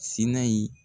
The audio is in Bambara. Sina in